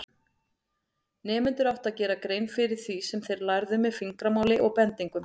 Nemendur áttu að gera grein fyrir því sem þeir lærðu með fingramáli og bendingum.